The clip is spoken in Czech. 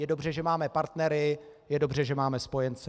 Je dobře, že máme partnery, je dobře, že máme spojence.